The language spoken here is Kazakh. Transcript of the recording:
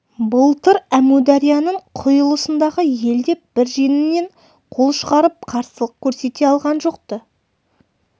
былтыр әмударияның құйылысындағы ел де бір жеңнен қол шығарып қарсылық көрсете алған жоқ-ты